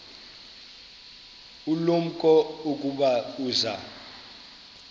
ulumko ukuba uza